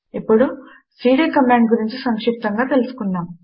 ఇప్పుడు CD command గురించి సంక్షిప్తముగా తెలుసుకుందాము